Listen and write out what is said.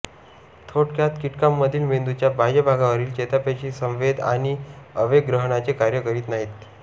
थोडक्यात कीटकांमधील मेंदूच्या बाह्य भागावरील चेतापेशी संवेद आणि आवेग ग्रहणाचे कार्य करीत नाहीत